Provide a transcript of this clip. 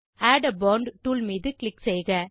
add a font tool மீது click செய்க